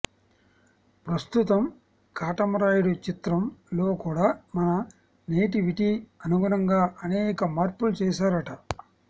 ప్రస్తుతం కాటమరాయుడు చిత్రం లో కూడా మన నేటివిటీ అనుగుణంగా అనేక మార్పులు చేశారట